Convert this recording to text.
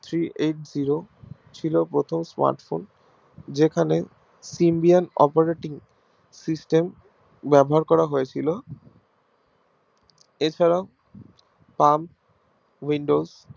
Three eight zero ছিল প্রথম Smartphone যেখানে operating system ব্যবহার করা হয়েছিল এছারাও Pam windows